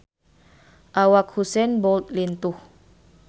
Awak Usain Bolt lintuh